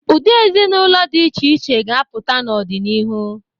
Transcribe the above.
Ụdị ezinaụlọ dị iche iche ga-apụta n'ọdinihu.